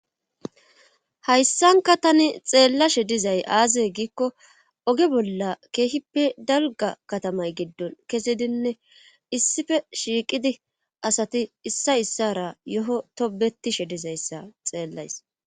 Hayssankka tani xeelashe dizay aaze giikko oge bolla keehippe dalgga katamay giddon kezidinne issife shiiqidinne asati issay issaara yoho tobbettishe dizayssa xeelays.